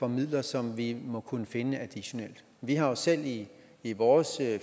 midler som vi må kunne finde additionelt vi har jo selv i i vores